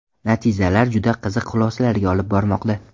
Natijalar juda qiziq xulosalarga olib bormoqda.